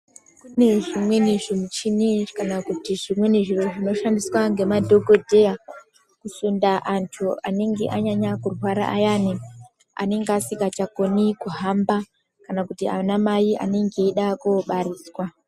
Kune zvimweni zvimuchini kana kuti zvimweni zviro zvinoshandiswa ngemadhokodheya kusunda antu anenge anyanya kurwara ayani, anenge asikachakoni kuhamba kana kuti ana mai anenge eida kobariswa.